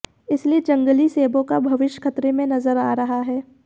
इसीलिए जंगली सेबों का भविष्य खतरे में नजर आ रहा है